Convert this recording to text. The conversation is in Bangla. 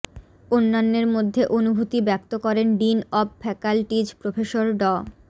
অন্যান্যের মধ্যে অনুভূতি ব্যক্ত করেন ডিন অব ফ্যাকাল্টিজ প্রফেসর ড